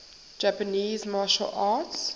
japanese martial arts